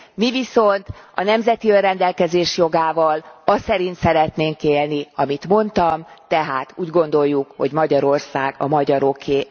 Mi viszont a nemzeti önrendelkezés jogával a szerint szeretnénk élni, amit mondtam, tehát úgy gondoljuk, hogy Magyarország a magyaroké.